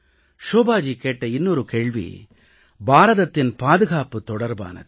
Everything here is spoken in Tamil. ஷோபாஜி கேட்ட இன்னொரு கேள்வி பாரதத்தின் பாதுகாப்பு தொடர்பானது